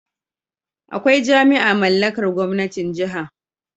Akwai jami'a mallakar gwamnatin Jiha